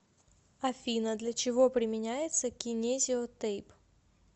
афина для чего применяется кинезио тейп